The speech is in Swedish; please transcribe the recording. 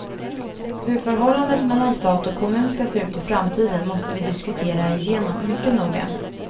Hur förhållandet mellan stat och kommun ska se ut i framtiden måste vi diskutera igenom mycket noga.